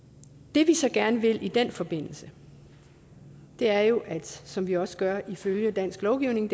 det vi så gerne vil i den forbindelse er jo det som vi også gør ifølge dansk lovgivning